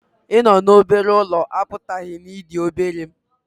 Ịnọ n'obere ụlọ apụtaghị na ị dị obere